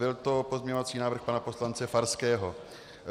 Byl to pozměňovací návrh pana poslance Farského.